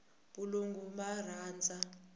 valungu va rhandza